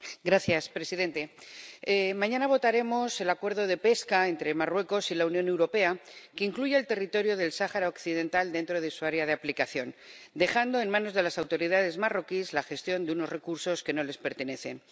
Señor presidente, mañana votaremos el Acuerdo de pesca entre Marruecos y la Unión Europea, que incluye el territorio del Sáhara Occidental dentro de su área de aplicación, dejando en manos de las autoridades marroquíes la gestión de unos recursos que no les pertenecen.